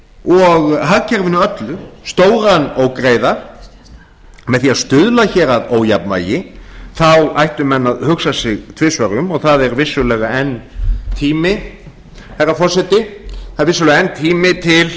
og hagkerfinu öllu stóran ógreiða með því að stuðla hér að ójafnvægi þá ættu menn að hugsa sig tvisvar um og það er vissulega enn tími herra forseti það er vissulega enn tími til